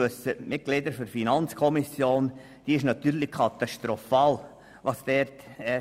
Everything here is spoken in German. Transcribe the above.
Wie den Mitgliedern der FiKo bekannt ist, ist diese katastrophal ausgefallen.